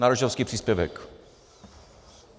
Na rodičovský příspěvek.